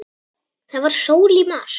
Það var sól í mars.